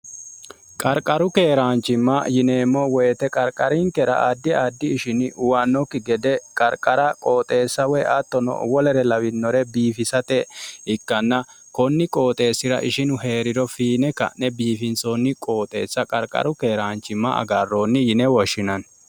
qarqaru keeraanchimma yineemmo woyite qarqarinkera addi addi ishini uwannokki gede qarqara qooxeessa woy attono wolere lawinore biifisate ikkanna konni qooxeessira ishinu hee'riro fiine ka'ne biifinsoonni qooxeessa qarqaru keeraanchimma agarroonni yine woshshinanno